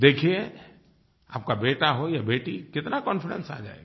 देखिये आपका बेटा हो या बेटी कितना कॉन्फिडेंस आ जायेगा